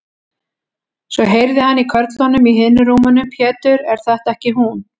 Svo heyrði hann í körlunum í hinum rúmunum: Pétur, er þetta ekki hún.